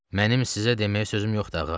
Mənim sizə deməyə sözüm yoxdur, ağa.